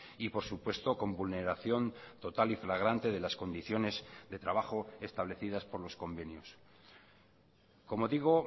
y por supuesto con vulneración total y flagrante de las condiciones de trabajo establecidas por los convenios como digo